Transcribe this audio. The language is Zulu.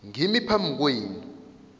ngimi phambi kwenu